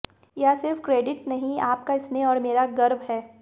यह सिर्फ क्रेडिट नहीं आपका स्नेह और मेरा गर्व है